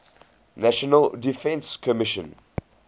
national defense commission